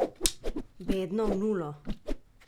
Bedno v nulo.